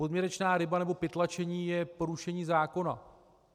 Podměrečná ryba nebo pytlačení je porušení zákona.